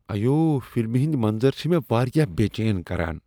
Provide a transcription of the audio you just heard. ایو! فلمہ ہٕنٛدۍ منظر چھ مےٚ واریاہ بے٘چین كران۔